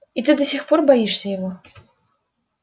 и ты до сих пор боишься его